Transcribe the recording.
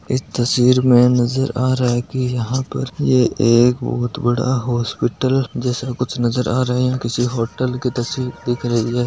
इस तस्वीर में मुझे नजर आ रहा है कि यहां पर यह एक बहुत बड़ा हॉस्पिटल जैसा कुछ नजर आ रहे हैं किसी होटल की तस्वीर दिख रही है।